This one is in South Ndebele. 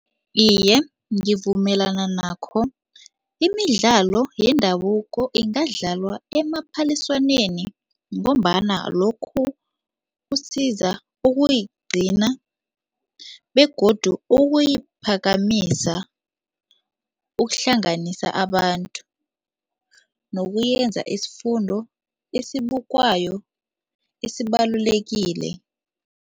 Iye, ngivumelana nakho. Imidlalo yendabuko ingadlalwa emaphaliswaneni ngombana lokhu kusiza ukuyigcina begodu ukuyiphakamisa, ukuhlanganisa abantu nokuyenza isifundo esibukwayo esibalulekile.